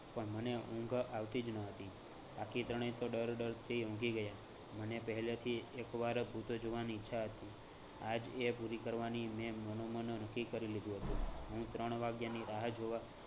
પણ મને ઉંઘ આવતી જ નહતી બાકી ત્રણેય તો ડર ડરથી ઊંઘી ગયા. મને પહેલેથી એક વાર ભૂત જોવાની ઈચ્છા હતી આજ એ પૂરી કરવાની મેં મનોમન નક્કી કરી લીધું હતું. હું ત્રણ વાગ્યાની રાહ જોવા